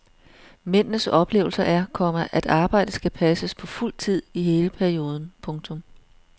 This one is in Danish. Mændenes oplevelse er, komma at arbejdet skal passes på fuld tid i hele perioden. punktum